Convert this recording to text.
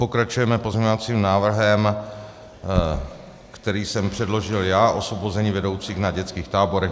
Pokračujeme pozměňovacím návrhem, který jsem předložil já - osvobození vedoucích na dětských táborech.